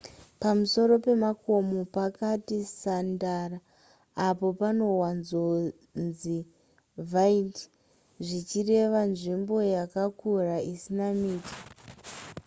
pamusoro pemakomo pakati sandara apa panowanzonzi vidde zvichireva nzvimbo yakakura isina miti